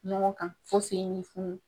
Ɲɔgɔn kan fo senw bɛ funun